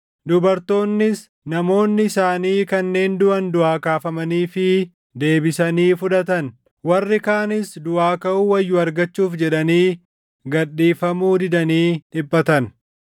Dubartoonnis namoonni isaanii kanneen duʼan duʼaa kaafamaniifii deebisanii fudhatan. Warri kaanis duʼaa kaʼuu wayyu argachuuf jedhanii gad dhiifamuu didanii dhiphatan.